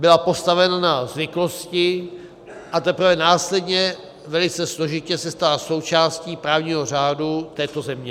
Byla postavena na zvyklosti, a teprve následně velice složitě se stala součástí právního řádu této země.